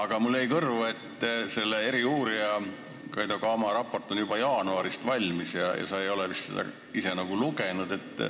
Aga mulle jäi kõrvu, et eriuurija Kaido Kama raport on juba jaanuarist alates valmis, aga sa ei ole vist seda lugenud.